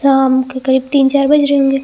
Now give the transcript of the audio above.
शाम के करीब तीन चार बज रहे होंगे।